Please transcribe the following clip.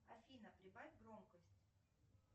афина прибавь громкость